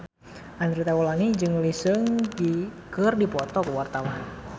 Andre Taulany jeung Lee Seung Gi keur dipoto ku wartawan